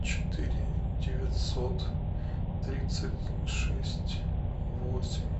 четыре девятьсот тридцать шесть восемь